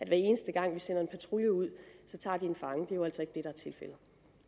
hver eneste gang vi sender en patrulje ud det